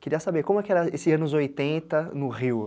Queria saber, como é que era esses anos oitenta, no Rio?